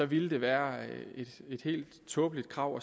ville være et helt tåbeligt krav